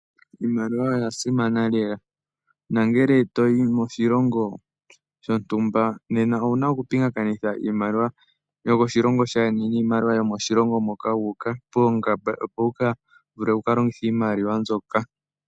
Iimaliwa oya simana lela. Nangele toyi moshilongo shontumba nena owu na okupingakanitha iimaliwa yomoshilongo shaayeni niimaliwa yomoshilongo moka wu uka poongamba opo wu ka vule wu ka longithe iimaliwa mbyoka.